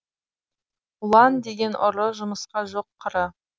ұлан деген ұры жұмысқа жоқ қыры